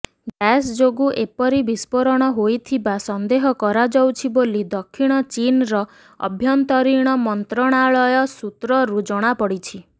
gas ଯୋଗୁ ଏପରି ବିସ୍ଫୋରଣ ହୋଇଥିବା ସନ୍ଦେହ କରାଯାଉଛି ବୋଲି ଦକ୍ଷିଣ ଚୀନର ଆଭ୍ୟନ୍ତରୀଣ ମନ୍ତ୍ରଣାଳୟ ସୂତ୍ରରୁ ଜଣାପଡିଛି